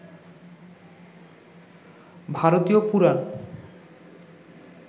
ভারতীয় পুরাণ